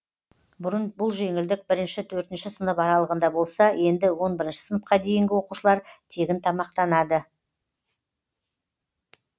бұрын бұл жеңілдік бірінші төртінші сынып аралығында болса енді он бірінші сыныпқа дейінгі оқушылар тегін тамақтанады